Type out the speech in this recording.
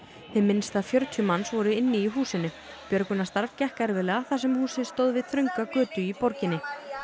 hið minnsta fjörtíu manns voru inni í húsinu björgunarstarf gekk erfiðlega þar sem húsið stóð við þrönga götu í borginni